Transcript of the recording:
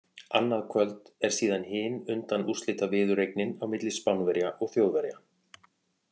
Annað kvöld er síðan hin undanúrslitaviðureignin á milli Spánverja og Þjóðverja.